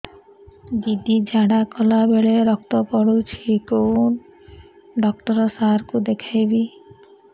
ଦିଦି ଝାଡ଼ା କଲା ବେଳେ ରକ୍ତ ପଡୁଛି କଉଁ ଡକ୍ଟର ସାର କୁ ଦଖାଇବି